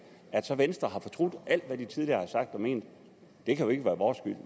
at så venstre har fortrudt alt hvad de tidligere har sagt og ment kan jo ikke være vores skyld